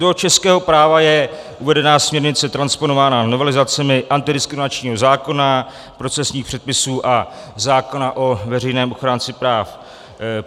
Do českého práva je uvedena směrnice transponována novelizacemi antidiskriminačního zákona, procesních předpisů a zákona o veřejném ochránci práv.